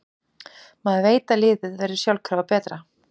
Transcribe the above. Maður veit að liðið verður sjálfkrafa betra.